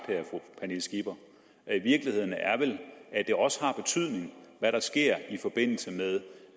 af i virkeligheden er vel at det også har betydning hvad der sker i forbindelse med